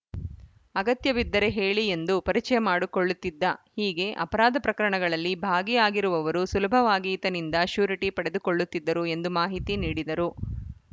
ಅಗತ್ಯ ಬಿದ್ದರೆ ಹೇಳಿ ಎಂದು ಪರಿಚಯ ಮಾಡುಕೊಳ್ಳುತ್ತಿದ್ದ ಹೀಗೆ ಅಪರಾಧ ಪ್ರಕರಣಗಳಲ್ಲಿ ಭಾಗಿಯಾಗಿರುವವರು ಸುಲಭವಾಗಿ ಈತನಿಂದ ಶ್ಯೂರಿಟಿ ಪಡೆದುಕೊಳ್ಳುತ್ತಿದ್ದರು ಎಂದು ಮಾಹಿತಿ ನೀಡಿದರು